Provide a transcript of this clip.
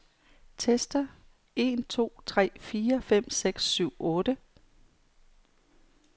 Tester en to tre fire fem seks syv otte.